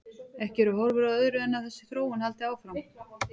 Ekki eru horfur á öðru en að þessi þróun haldi áfram.